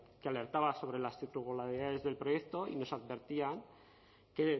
que alertaba sobre las irregularidades del proyecto y nos advertían que